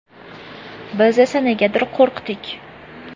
Biz esa, negadir qo‘rqdik.